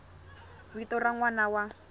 vito ra n wana wa